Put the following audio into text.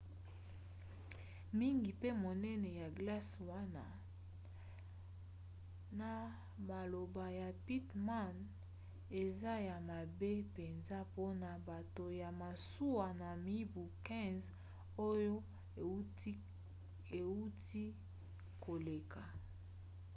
mingi mpe monene ya glace wana na maloba ya pittman eza ya mabe mpenza mpona bato ya masuwa na mibu 15 oyo euti koleka